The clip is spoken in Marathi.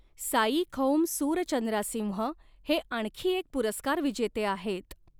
साइखौमसुरचंद्रासिंह हे आणखी एक पुरस्कार विजेते आहेत.